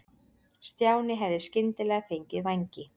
Stjáni hefði skyndilega fengið vængi.